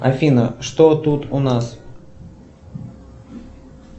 афина что тут у нас